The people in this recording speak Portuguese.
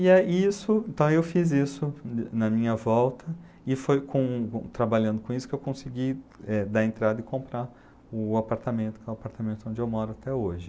E e isso, então eu fiz isso na minha volta e foi com trabalhando com isso que eu consegui, eh, dar entrada e comprar o apartamento, que é o apartamento onde eu moro até hoje.